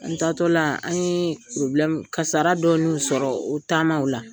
N taatɔla an yee kasara dɔ n'u sɔrɔ o taama o la.